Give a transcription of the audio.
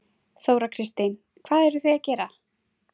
Þóra Kristín: Hvað eruð þið að gera?